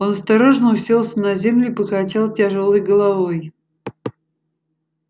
он осторожно уселся на землю и покачал тяжёлой головой